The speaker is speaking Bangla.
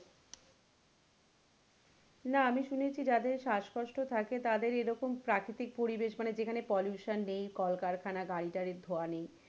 না আমি শুনেছি যাদের শ্বাস কষ্ট থাকে তাদের এরকম প্রাকৃতিক পরিবেষ মানে যেখানে এরকম pollution নেই কলকারখানা গাড়ি টাড়ি ধোঁয়া নেই,